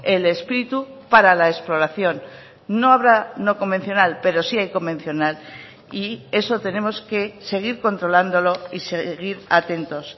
el espíritu para la exploración no habrá no convencional pero si hay convencional y eso tenemos que seguir controlándolo y seguir atentos